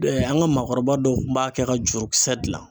an ka maakɔrɔba dɔw kun b'a kɛ ka jurukisɛ dilan